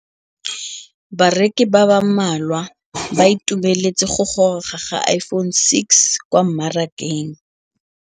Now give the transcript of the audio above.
Bareki ba ba malwa ba ituemeletse go gôrôga ga Iphone6 kwa mmarakeng.